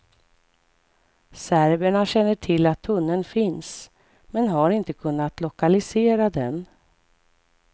Serberna känner till att tunneln finns, men har inte kunnat lokalisera den.